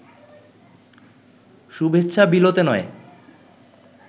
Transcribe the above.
শুভেচ্ছা বিলোতে নয়